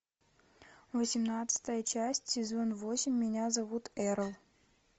восемнадцатая часть сезон восемь меня зовут эрл